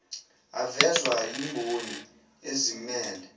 avezwa yimboni ezimmele